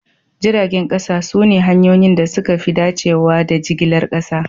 Jiragen kasa sune hanyoyin da suka fi dacewa da jigilar kasa